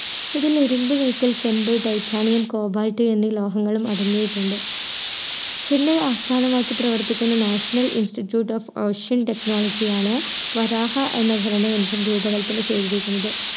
ഇതിൽ ഇരുമ്പ് നീക്കൽ ചെമ്പ് titanium cobalt എന്നീ ലോഹങ്ങളും അടങ്ങിയിട്ടുണ്ട് ചെന്നൈ ആസ്ഥാനമാക്കി പ്രവർത്തിക്കുന്ന national institute of ocean technology ആണ് വരാഹ എന്ന ഖനന യന്ത്രം രൂപകൽപന ചെയ്‌തിരിക്കുന്നത്‌